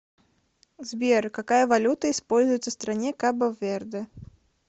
сбер какая валюта используется в стране кабо верде